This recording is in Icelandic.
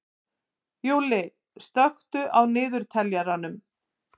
Júlli, slökktu á niðurteljaranum.